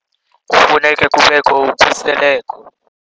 Kufuneka kubekho ukhuseleko.